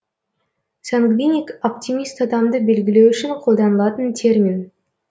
сангвиник оптимист адамды белгілеу үшін қолданылатын термин